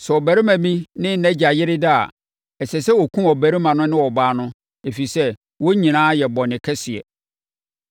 “ ‘Sɛ ɔbarima bi ne nʼagya yere da a, ɛsɛ sɛ wɔkum ɔbarima no ne ɔbaa no, ɛfiri sɛ, wɔn nyinaa ayɛ bɔne kɛseɛ.